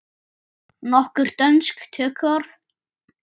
Nokkur dönsk tökuorð